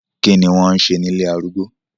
Kí ni wọ́n ń ṣe ní ilé arúgbó?